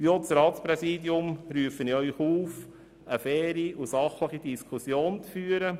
Ich rufe deshalb auch das Ratspräsidium auf, eine faire und sachliche Diskussion zu führen.